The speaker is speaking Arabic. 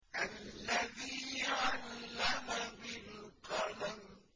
الَّذِي عَلَّمَ بِالْقَلَمِ